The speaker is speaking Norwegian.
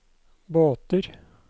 båter